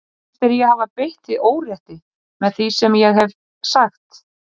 Finnst þér ég hafa beitt þig órétti með því sem ég hef sagt?